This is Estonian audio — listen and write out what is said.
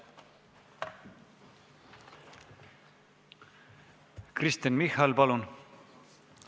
Kristen Michal, palun!